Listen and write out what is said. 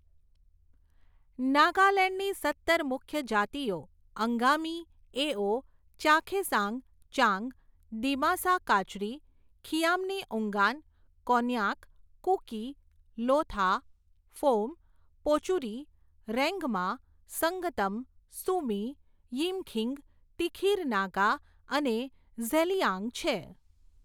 નાગાલેન્ડની સત્તર મુખ્ય જાતિઓ અંગામી, એઓ, ચાખેસાંગ, ચાંગ, દિમાસા કાચરી, ખિયામ્નીઉંગાન, કોન્યાક, કુકી, લોથા, ફોમ, પોચુરી, રેન્ગ્મા, સંગતમ, સુમી, યિમખીંગ, તિખિર નાગા અને ઝેલિયાંગ છે.